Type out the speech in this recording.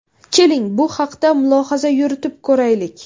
Keling, bu haqda mulohaza yuritib ko‘raylik.